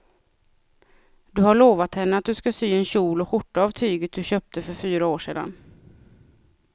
Du har lovat henne att du ska sy en kjol och skjorta av tyget du köpte för fyra år sedan.